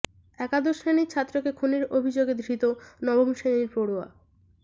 একাদশ শ্রেণীর ছাত্রকে খুনের অভিযোগে ধৃত নবম শ্রেণীর পড়ুয়া